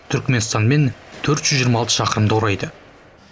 түркіменстанмен төрт жүз жиырма алты шақырымды құрайды